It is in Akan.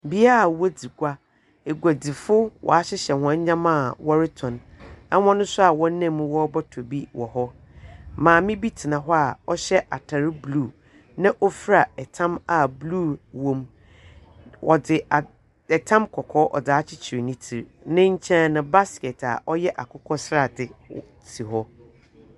Bea a wodzi gua. Eguedzifoɔ wɔahyehyɛ hɔn ndzeɛma a wɔretɔ. Hɔn nso a wɔnam mu wɔrebɔtɔ bi wɔ hɔ. Maame bi tena hɔ a ɔhyɛ atar blue, na ɔfura tam a blue wɔ mu. Wɔdze ad tam kɔkɔɔ ɔdze akyekyer ne tsir. Ne nkyɛn, basket a ɔyɛ akokɔ sradze si hɔ.